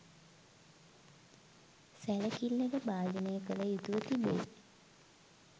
සැලකිල්ලට භාජනය කළ යුතුව තිබේ